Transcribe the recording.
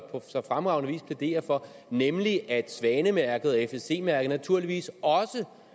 fremragende vis plæderer for nemlig at svanemærket og fsc mærket naturligvis også